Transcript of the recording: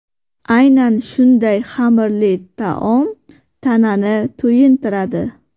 Aynan shunday xamirli taom tanani to‘yintiradi.